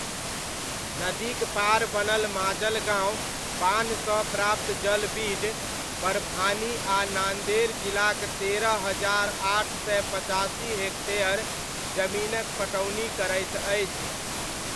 नदीक पार बनल माजलगाँव बान्हसँ प्राप्त जल बीड, परभानी आ नान्देड़ जिलाक तेरह हजार आठ सय पचासी हेक्टेयर जमीनक पटौनी करैत अछि।